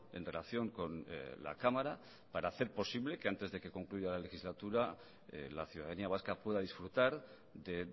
en relación con la cámara para hacer posible que antes de que concluya la legislatura la ciudadanía vasca pueda disfrutar de